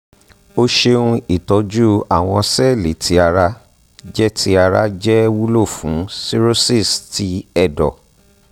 o ṣeun itọju awọn sẹẹli ti ara jẹ ti ara jẹ wulo fun cirrhosis ti ẹdọ